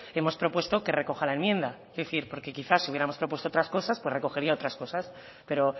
hemos propuesto que recoja la enmienda es decir porque quizás si hubiéramos propuesto otras cosas pues recogería otras cosas pero